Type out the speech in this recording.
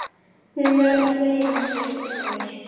Hún verði að segja að hún sé stolt af mér.